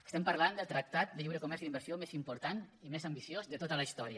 estem parlant del tractat de lliure comerç i d’inversió més important i més ambiciós de tota la història